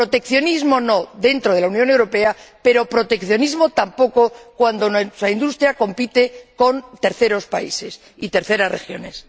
Proteccionismo, no, dentro de la Unión Europea, pero proteccionismo, tampoco, cuando nuestra industria compite con terceros países y terceras regiones.